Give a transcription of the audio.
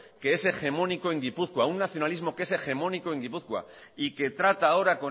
que es un hegemónico en gipuzkoa un nacionalismo que es hegemónico en gipuzkoa y que trata ahora